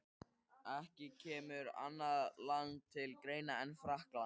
Ekki kemur annað land til greina en Frakkland.